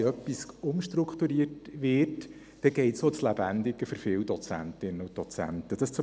Wenn etwas umstrukturiert wird, geht dies vielen Dozentinnen und Dozenten ans Lebendige.